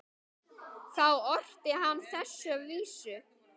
Þá orti hann þessa vísu